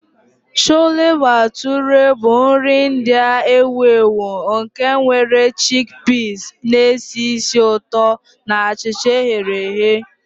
Chole Bhature bụ nri India ewu ewu nke nwere chickpeas na-esi ísì ụtọ na achịcha e ghere eghe.